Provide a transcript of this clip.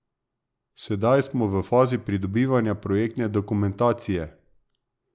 Sedaj smo v fazi pridobivanja projektne dokumentacije.